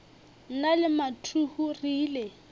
nna le mathuhu re ile